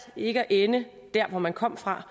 ikke at ende der hvor man kom fra